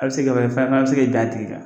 A be se ka bɛn fana a be se ka ben a tigi kan.